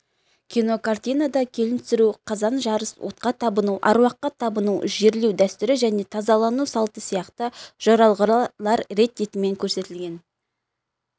кинокартинада келін түсіру қазан жарыс отқа табыну аруаққа табыну жерлеу дәстүрі және тазалану салты сияқты жоралғылар рет-ретімен көрсетілген